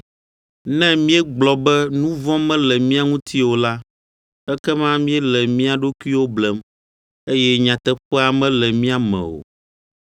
Ne míegblɔ be nu vɔ̃ mele mía ŋuti o la, ekema míele mía ɖokuiwo blem, eye nyateƒea mele mía me o.